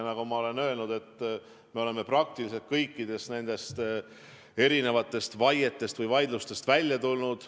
Nagu ma olen öelnud, me oleme praktiliselt kõikidest vaietest või vaidlustest välja tulnud.